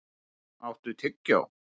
Húnn, áttu tyggjó?